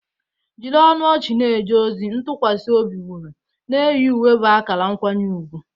Jiri ọnụ ọchị na-eje ozi, ntụkwasị obi wuru, na-eyi uwe bụ akara nkwanye ùgwù.